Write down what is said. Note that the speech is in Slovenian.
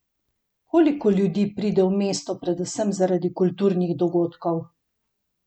Koliko ljudi pride v mesto predvsem zaradi kulturnih dogodkov?